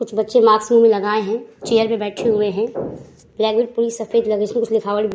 कुछ बच्चे माक्स मुंह में लगाए हैं। चेयर पे बैठे हुए हैं। पूरी सफेद उसमें कुछ लिखावट भी --